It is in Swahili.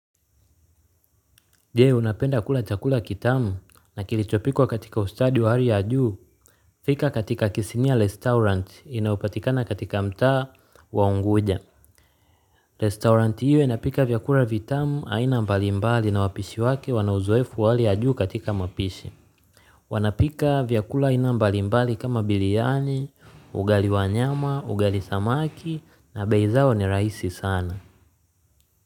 Je, unapenda kula chakula kitamu na kilichopikwa katika ustadi wa hali ya juu? Fika katika kisimiya restaurant inaopatikana katika mtaa wa Unguja. Restaurant hiyo inapika vyakua vitamu aina mbalimbali na wapishi wake wanauzoefu wa hali ya juu katika mapishi. Wanapika vyakula aina mbalimbali kama biriani, ugali wa nyama, ugali samaki na bei zao ni rahisi sana.